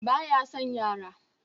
Ba ya son yara